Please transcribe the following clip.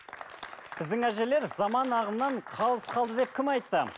біздің әжелер заман ағымнан қалыс қалды деп кім айтты